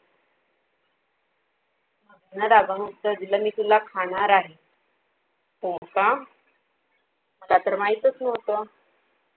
मगरीने रागावून उत्तर दिलं, मी तुला खाणार आहे. हो का? मला तर माहीतच नव्हत.